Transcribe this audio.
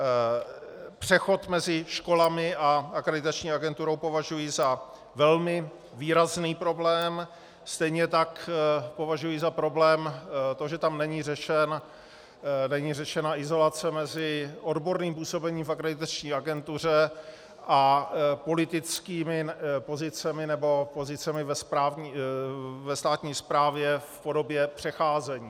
Přechod mezi školami a akreditační agenturou považuji za velmi výrazný problém, stejně tak považuji za problém to, že tam není řešena izolace mezi odborným působením v akreditační agentuře a politickými pozicemi nebo pozicemi ve státní správě v podobě přecházení.